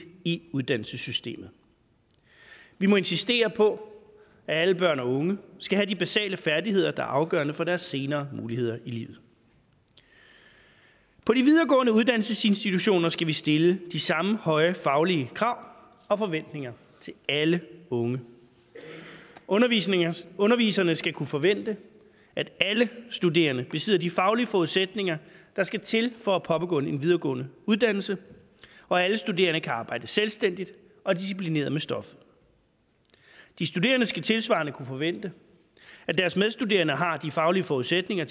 i uddannelsessystemet vi må insistere på at alle børn og unge skal have de basale færdigheder der er afgørende for deres senere muligheder i livet på de videregående uddannelsesinstitutioner skal vi stille de samme høje faglige krav og forventninger til alle unge underviserne underviserne skal kunne forvente at alle studerende besidder de faglige forudsætninger der skal til for at påbegynde en videregående uddannelse og at alle studerende kan arbejde selvstændigt og disciplineret med stoffet de studerende skal tilsvarende kunne forvente at deres medstuderende har de faglige forudsætninger